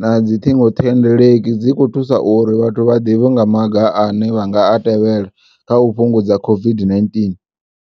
nadzi ṱhingothendeleki dzi kho thusa uri vhathu vhaḓivhe nga maga ane vhanga a tevhela kha u fhungudza COVID-19.